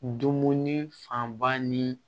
Dumuni fanba ni